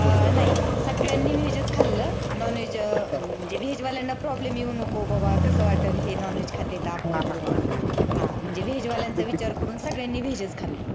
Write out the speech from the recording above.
नाही सगळ्यांनी veg च खाल्ल Nonveg अह veg वाल्यांना problem येऊ नको बाबा कस वाटलं हे Nonveg खातेत आपल्याबरोबर म्हणजे veg वाल्यांचा विचार करून सगळ्यांनी veg च खाल्ल.